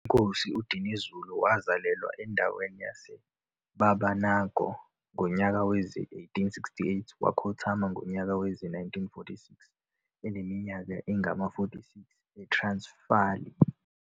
INkosi uDinuzulu wazalalelwa endaweni yase Babanango ngonyaka wezi 1868,wakhothama ngonyaka wezi 1946 eneminyaka engama 46, e Transfali.